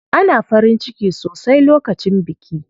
Ana farin ciki sosai lokacin biki.